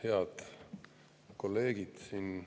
Head kolleegid!